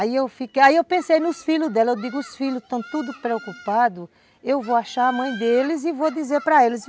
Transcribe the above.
Aí eu pensei nos filhos dela, eu digo, os filhos estão todos preocupados, eu vou achar a mãe deles e vou dizer para eles.